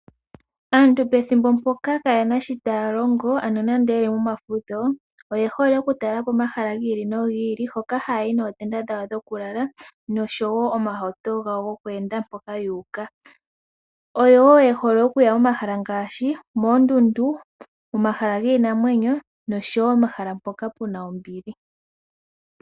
Aantu pethimbo mpoka kaaye na shoka taya longo nenge ye li momafudho oye hole okutalela po omahala gi ili nogi ili. Hoka haya yi nootenda dhawo dhokulala nosho wo omahauto gawo goku enda mpoka yu uka. Oye hole wo okuya momahala ngaashi moondundu, momahala giinamwenyo nosho wo omahala mpoka pu na ombili.